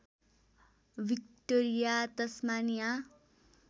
Victoria Tasmania